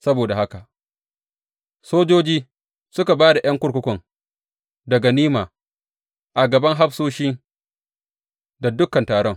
Saboda haka sojoji suka ba da ’yan kurkukun da ganima a gaban hafsoshi da dukan taron.